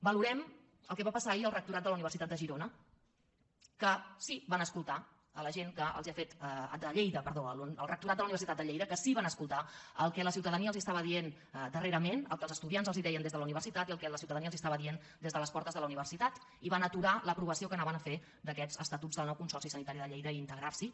valorem el que va passar ahir al rectorat de la universitat de lleida que sí que van escoltar el que la ciutadania els estava dient darrerament el que els estudiants els deien des de la universitat i el que la ciutadania els estava dient des de les portes de la universitat i van aturar l’aprovació que volien fer d’aquests estatuts del nou consorci sanitari de lleida i integrars’hi